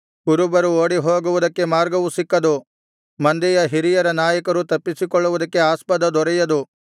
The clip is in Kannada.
ಕುರುಬರು ಓಡಿಹೋಗುವುದಕ್ಕೆ ಮಾರ್ಗವು ಸಿಕ್ಕದು ಮಂದೆಯ ಹಿರಿಯ ನಾಯಕರು ತಪ್ಪಿಸಿಕೊಳ್ಳುವುದಕ್ಕೆ ಆಸ್ಪದ ದೊರೆಯದು